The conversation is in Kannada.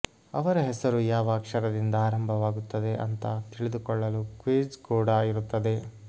ಅವರ ಹೆಸರು ಯಾವ ಅಕ್ಷರದಿಂದ ಆರಂಭವಾಗುತ್ತದೆ ಅಂತಾ ತಿಳಿದುಕೊಳ್ಳಲು ಕ್ವಿಜ್ ಕೂಡಾ ಇರುತ್ತದೆ